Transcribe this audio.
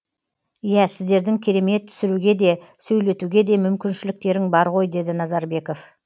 иә сіздердің керемет түсіруге де сөйлетуге де мүмкіншіліктерің бар ғой деді назарбеков